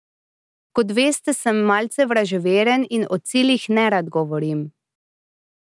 Kot veste, sem malce vraževeren in o ciljih nerad govorim.